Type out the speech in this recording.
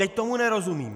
Teď tomu nerozumím.